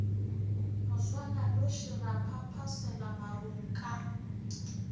moswananoši ra phaphasela marung ka